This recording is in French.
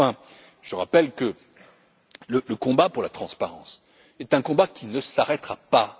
rapport. Enfin, je rappelle que le combat pour la transparence est un combat qui ne s'arrêtera